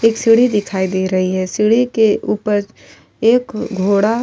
एक सीढ़ी दिखाई दे रही है। सीढ़ी के ऊपर एक घोड़ा --